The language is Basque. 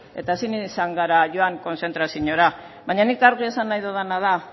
eta ezin izan gara joan konzentraziora baina nik argi esan nahi dudana da